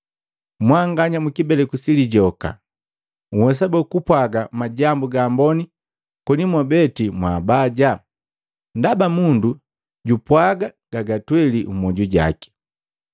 Mwanganya mukibeleku si lijoka! Nhwesa boo kupwaaga majambu gamboni koni mwabeti mwambaja? Ndaba mundu jupwaaga gagatweli mmoju jaki.